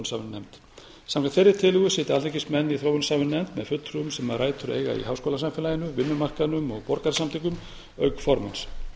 þróunarsamvinnunefnd samkvæmt þeirri tillögu sitja alþingismenn í þróunarsamvinnunefnd með fulltrúum sem rætur eiga í háskólasamfélaginu vinnumarkaðnum og borgarasamtökum auk formanns